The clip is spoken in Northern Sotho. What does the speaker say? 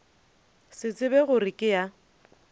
se tsebe gore ke ya